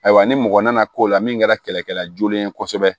Ayiwa ni mɔgɔ nana k'o la min kɛra kɛlɛkɛla joonen ye kosɛbɛ